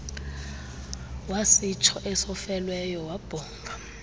wasitsho esofelweyo wabhonga